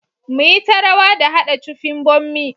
Mu yi ta rawa da hada cufin bommi.